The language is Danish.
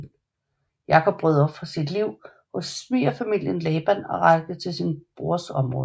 Jakob brød op fra sit liv hos svigerfaren Laban og rejste til sin brors område